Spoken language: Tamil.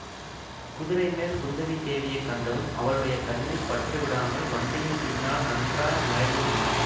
குதிரைமேல் குந்தவி தேவியைக் கண்டதும் அவளுடைய கண்ணில் பட்டு விடாமல் வண்டியின் பின்னால் நன்றாய் மறைந்து கொண்டான்